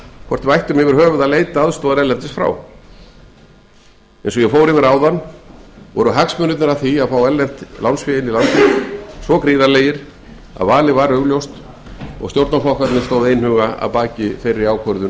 hvort við ættum yfirhöfuð að leita aðstoðar erlendis frá eins og ég fór yfir áðan voru hagsmunirnir af því að fá erlent fé inn í landið svo gríðarlegir að valið var augljóst og ríkisstjórnin og stjórnarflokkarnir stóðu einhuga að baki þeirri ákvörðun